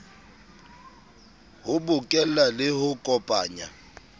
ho bokella le ho kopanya